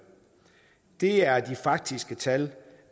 det er de faktiske tal